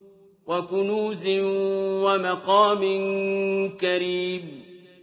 وَكُنُوزٍ وَمَقَامٍ كَرِيمٍ